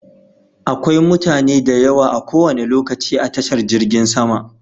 Akwai mutane da yawa a kowane lokaci a tashar jirgin sama.